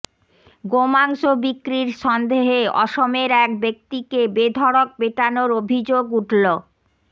গোমাংস বিক্রির সন্দেহে অসমের এক ব্যক্তিকে বেধড়ক পেটানোর অভিযোগ উঠল